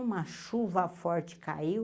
Uma chuva forte caiu,